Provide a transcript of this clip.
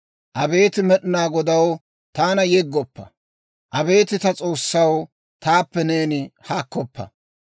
Abeet Med'inaa Godaw, taana yeggoppa. Abeet ta S'oossaw, taappe neeni haakkoppa.